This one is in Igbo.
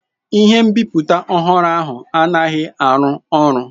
Ihe nbiputa ọhụrụ ahụ anaghị arụ ọrụ.